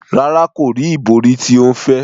Rara, ko ri ibori ti o ń fẹ.